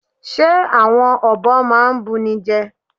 Ṣe awọn ọbọ na n bunijẹ?